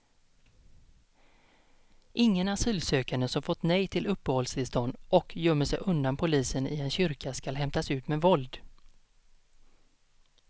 Ingen asylsökande som fått nej till uppehållstillstånd och gömmer sig undan polisen i en kyrka skall hämtas ut med våld.